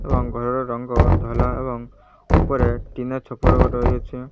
ରଙ୍ଗରେ ରଙ୍ଗାୟାତ ହେଲା ଏବଂ ଉପରେ ଟିଣ ଛପର ଘର ହୋଇ ଅଛି।